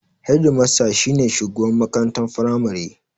Hedimasta shi ne shugaban makarantar firamari